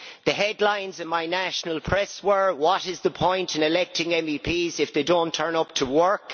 The headlines in my national press were what is the point in electing MEPs if they don't turn up to work?'